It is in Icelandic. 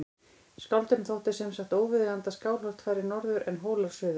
Skáldinu þótti sem sagt óviðeigandi að Skálholt færi norður en Hólar suður.